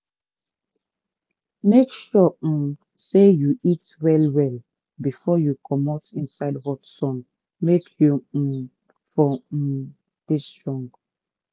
make sure um say you eat well well befor you comot inside hot sun make u um for um dey strong.